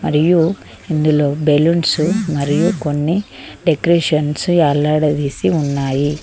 మరియు ఇందులో బెలూన్స్ మరియు కొన్ని డెకరేషన్స్ వేలాడదీసి ఉన్నాయి.